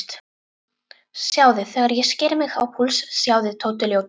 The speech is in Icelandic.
Sjáðu þegar ég sker mig á púls, sjáðu, Tóti ljóti.